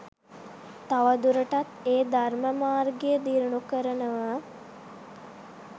තවදුරටත් ඒ ධර්ම මාර්ගය දියුණු කරනව.